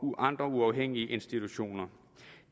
og andre uafhængige institutioner